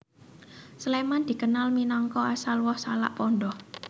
Sléman dikenal minangka asal woh salak pondoh